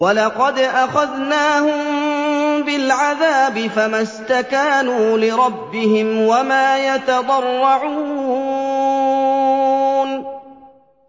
وَلَقَدْ أَخَذْنَاهُم بِالْعَذَابِ فَمَا اسْتَكَانُوا لِرَبِّهِمْ وَمَا يَتَضَرَّعُونَ